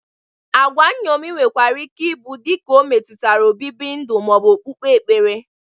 Agwa nṅomi nwekwara ike ị bụ dịka o metutara obibi ndu ma ọ bụ okpukpere.